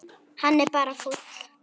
Hann er bara fúll.